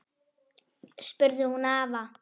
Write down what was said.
spurði hún afa.